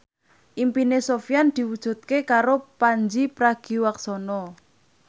impine Sofyan diwujudke karo Pandji Pragiwaksono